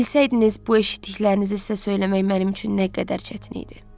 Bilsəydiniz bu eşitdiklərinizi sizə söyləmək mənim üçün nə qədər çətin idi.